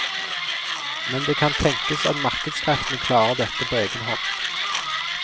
Men det kan tenkes at markedskreftene klarer dette på egen hånd.